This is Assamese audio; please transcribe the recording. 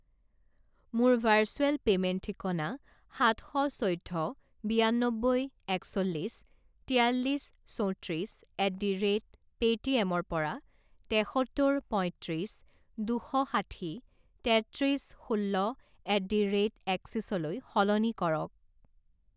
মোৰ ভাৰ্চুৱেল পে'মেণ্ট ঠিকনা সাত শ চৈধ্য বিয়ান্নব্বৈ একচল্লিছ তিয়াল্লিছ চৌত্ৰিছ at the rate pay T এমৰ পৰা তেসত্তৰ পয়ত্ৰিছ দুশ ষাঠি তেত্ৰিছ ষোল্ল এট দি ৰে'ট এক্সিসলৈ সলনি কৰক।